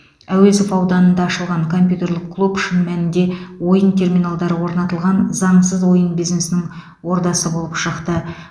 әуезов ауданында ашылған компьютерлік клуб шын мәнінде ойын терминалдары орнатылған заңсыз ойын бизнесінің ордасы болып шықты